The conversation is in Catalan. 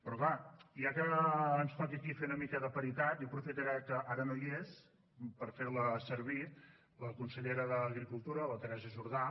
però clar ja que ens toca aquí fer una mica de paritat jo aprofitaré que ara no hi és per fer la servir la consellera d’agricultura la teresa jordà